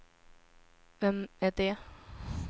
vem är det